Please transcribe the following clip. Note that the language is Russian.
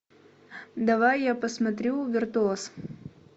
давай я посмотрю виртуоз